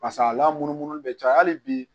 Pas'a lamunumunun bɛ caya hali bi